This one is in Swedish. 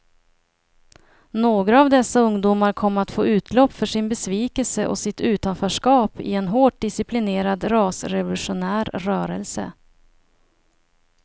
Några av dessa ungdomar kom att få utlopp för sin besvikelse och sitt utanförskap i en hårt disciplinerad rasrevolutionär rörelse.